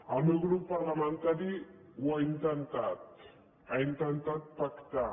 el meu grup parlamentari ho ha intentat ha intentat pactar